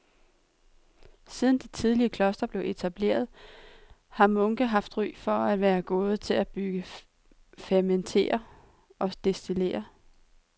Siden de tidligste klostre blev etableret har munke haft ry for at være gode til at brygge, fermentere og destillere.